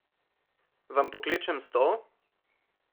Vam pokličem stol?